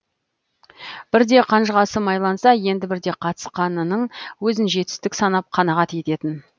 бірде қанжығасы майланса енді бірде қатысқанының өзін жетістік санап қанағат ететін